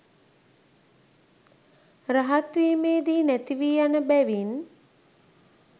රහත් වීමේදි නැතිවී යන බැවින්